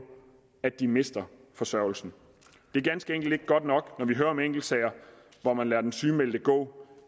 at de mister forsørgelsen det er ganske enkelt ikke godt nok når vi hører om enkeltsager hvor man lader den sygemeldte gå